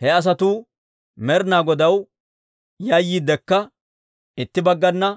He asatuu Med'ina Godaw yayyiiddekka, itti baggana